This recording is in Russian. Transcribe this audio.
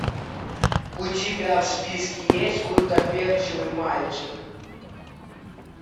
у тебя в списке есть гуттаперчевый мальчик